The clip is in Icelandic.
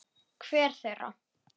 Hver þeirra?